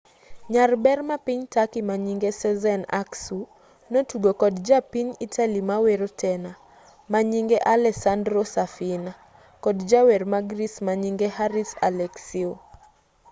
nyarber mapiny turkey manyinge sezen aksu notugo kod japiny italy mawero tena manyinge alessandro safina kod jawer ma greece manyinge haris alexiou